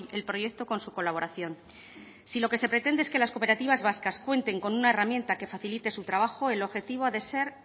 el proyecto con su colaboración si lo que se pretende es que las cooperativas vascas cuenten con una herramienta que facilite su trabajo el objetivo ha de ser